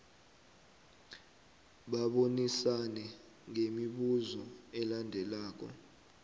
babonisane ngemibuzo elandelako